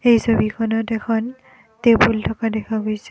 এই ছবিখনত এখন টেবুল থকা দেখা গৈছে।